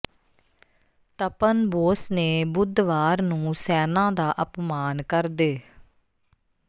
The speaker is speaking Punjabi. ਤਪਨ ਬੋਸ ਨੇ ਬੁੱਧਵਾਰ ਨੂੰ ਸੈਨਾ ਦਾ ਅਪਮਾਨ ਕਰਦੇ